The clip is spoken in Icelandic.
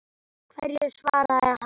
Hverju svaraði hann?